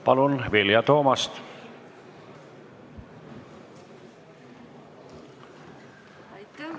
Palun, Vilja Toomast!